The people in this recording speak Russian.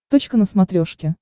точка на смотрешке